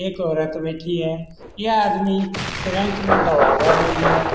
एक औरत बैठी है यह आदमी सिरिंज में दवा भर रही है।